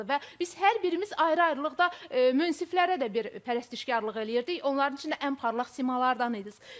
Və biz hər birimiz ayrı-ayrılıqda münsiflərə də bir pərəstişkarlıq eləyirdik, onların içinə ən parlaq simalardan idiniz.